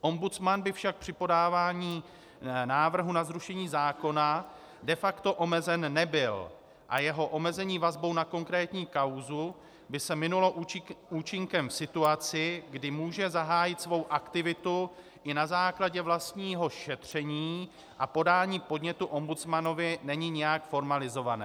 Ombudsman by však při podávání návrhu na zrušení zákona de facto omezen nebyl a jeho omezení vazbou na konkrétní kauzu by se minulo účinkem v situaci, kdy může zahájit svou aktivitu i na základě vlastního šetření, a podání podnětu ombudsmanovi není nijak formalizované.